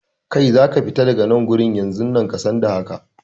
Kai, za ka fita daga nan wurin yanzun nan, ka san da haka!